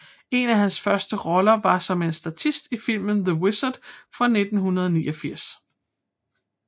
En af hans første roller var som en statist i filmen The Wizard fra 1989